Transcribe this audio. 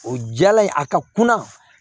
O jala in a ka kunna